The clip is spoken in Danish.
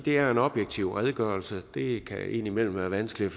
er en objektiv redegørelse det kan indimellem være vanskeligt